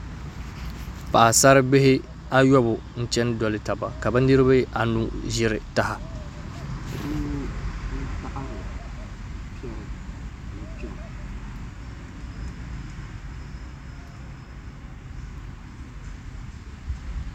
Paɣasaribihi ayobu n chɛni doli taba ka bi niraba anu ʒiri taha